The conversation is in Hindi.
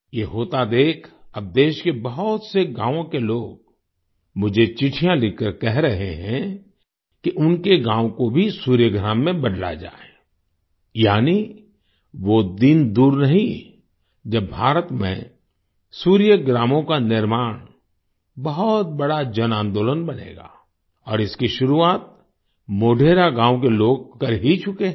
ये होता देख अब देश के बहुत से गावों के लोग मुझे चिट्ठियां लिखकर कह रहे हैं कि उनके गांव को भी सूर्य ग्राम में बदला जाए यानी वो दिन दूर नहीं जब भारत में सूर्यग्रामों का निर्माण बहुत बड़ा जनांदोलन बनेगा और इसकी शुरुआत मोढेरा गांव के लोग कर ही चुके हैं